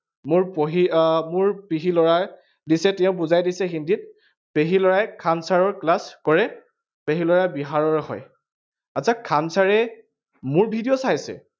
মোৰ পঢ়ি, আহ মোৰ পেহীৰ লৰাই দিছে, তেওঁ বুজাই দিছে হিন্দীত, পেহীৰ ল ৰাই খান sir ৰ class কৰে। পেহীৰ লৰা বিহাৰৰ হয় । আচ্ছচা খান sir এ মোৰ video চাইছে।